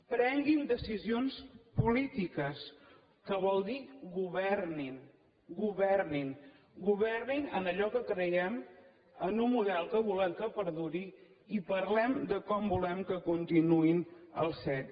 prenguin decisions polítiques que vol dir governin governin governin en allò que creiem en un model que volem que perduri i parlem de com volem que continuïn els cet